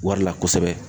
Wari la kosɛbɛ